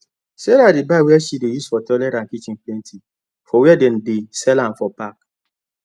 sarah dey buy wey she dey use for toilet and kitchen plenty for wer dem dey sell m for pack